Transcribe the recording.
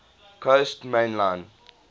coast main line